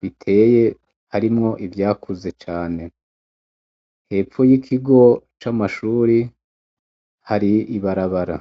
biteye harimwo ivyakuze cane. Hepfo y'ikigo c'amashuri, hari ibarabara.